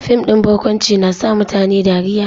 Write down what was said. Fim din barkwanci na sa mutane dariya